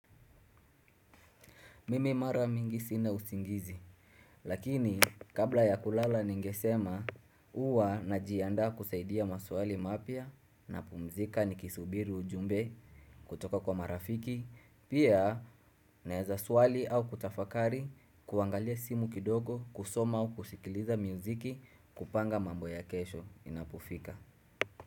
Mimi mara mingi sina usingizi. Lakini, kabla ya kulala ningesema, uwa najianda kusaidia maswali mapia na pumzika nikisubiru ujumbe kutoka kwa marafiki. Pia, naeza suwali au kutafakari kuangalia simu kidogo, kusoma au kushikiliza mziki kupanga mambo ya kesho inapofika.